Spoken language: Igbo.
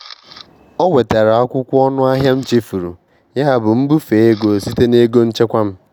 Ọ wetara akwụkwọ ọnụ ahịa m chefuru, yabụ m bufee ego site na ego nchekwa m.